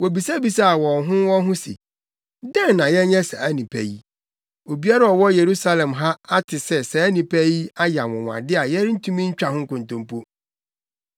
Wobisabisaa wɔn ho wɔn ho se, “Dɛn na yɛnyɛ saa nnipa yi? Obiara a ɔwɔ Yerusalem ha ate sɛ saa nnipa yi ayɛ anwonwade a yɛrentumi ntwa ho nkontompo.